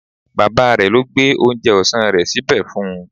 Bàbá rẹ̀ ló gbé oúnjẹ ọ̀sán rẹ̀ síbẹ̀ fún un